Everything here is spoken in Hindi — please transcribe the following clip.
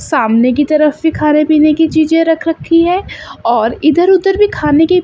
सामने की तरफ फि खारे पीने की चीजे रख रखी है और इधर उधर भी खाने की--